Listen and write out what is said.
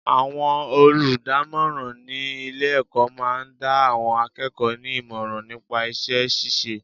Àwọn olùdámọ́ràn ní ilé ẹ̀kọ́ máa ń dá àwọn akẹ́kọ̀ọ́ ní ìmọ̀ràn nípa iṣẹ́ ṣíṣe.